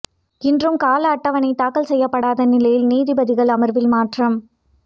இன்றும் கால அட்டவணை தாக்கல் செய்யப்படாத நிலையில் நீதிபதிகள் அமர்வில் மாற்றம்